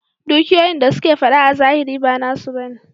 Dukiyoyin da suke fada a zahiri ba nasu ba ne.